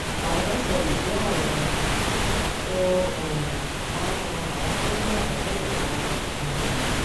àrùn sle jẹ àrùn um tó um máa ń ran àwọn tó ní àrùn náà lọwọ um